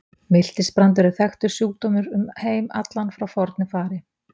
Miltisbrandur er þekktur sjúkdómur um heim allan frá fornu fari.